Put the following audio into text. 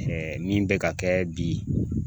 min bɛ ka kɛ bi